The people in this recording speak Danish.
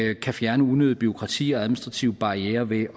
kan fjerne unødigt bureaukrati og administrative barrierer ved